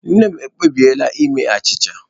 Nne m ekpebiela ime achịcha